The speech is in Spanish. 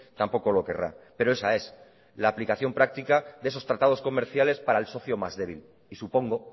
tampoco lo querrá pero esa es la aplicación práctica de esos tratados comerciales para el socio más débil y supongo